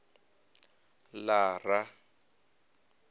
lara